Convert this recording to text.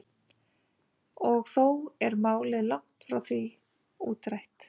Og þó er málið langt frá því útrætt.